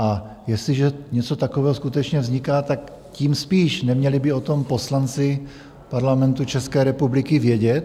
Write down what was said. A jestliže něco takového skutečně vzniká, tak tím spíš neměli by o tom poslanci Parlamentu České republiky vědět?